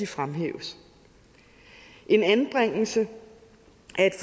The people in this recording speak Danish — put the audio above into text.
fremhæves en anbringelse